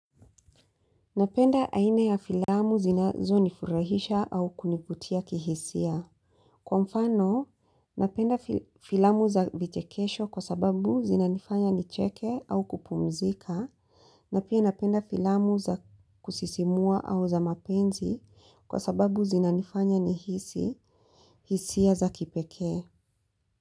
Napenda aine ya filamu zinazo nifurahisha au kunivutia kihisia. Kwa mfano, napenda filamu za vichekesho kwa sababu zinanifanya ni cheke au kupumzika, na pia napenda filamu za kusisimua au za mapenzi kwa sababu zinanifanya ni hisi, hisia za kipekee.